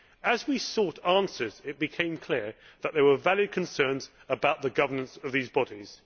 As we sought answers, it became clear that there were valid concerns about the governance of these bodies.